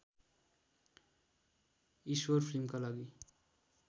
ईश्वर फिल्मका लागि